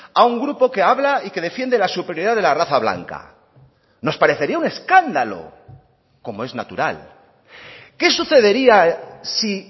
a un grupo que habla y que defiende la superioridad de la raza blanca nos parecería un escándalo como es natural qué sucedería sí